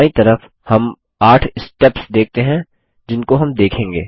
बायीं तरफ हम 8 स्टेप्स देखते हैं जिनको हम देखेंगे